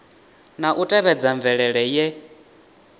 na u tevhedza mvelele ye